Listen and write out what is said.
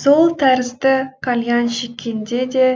сол тәрізді кальян шеккенде де